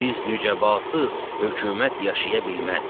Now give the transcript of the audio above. Biz nücəbasız hökumət yaşaya bilməz.